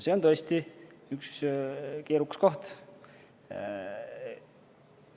See on tõesti üks keerukas koht.